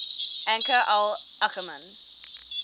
anchor al ackerman